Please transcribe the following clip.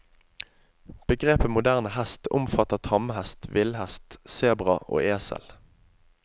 Begrepet moderne hest omfatter tamhest, villhest, sebra og esel.